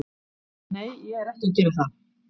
Nei, ég er ekki að gera það.